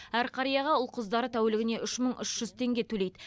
әр қарияға ұл қыздары тәулігіне үш мың үш жүз теңге төлейді